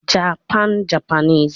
Japan- Japanese